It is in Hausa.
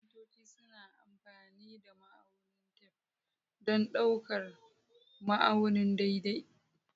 Kafintoci suna amfani da ma'aunin tef don ɗaukar ma'auni daidai.